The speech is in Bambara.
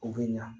O bɛ ɲa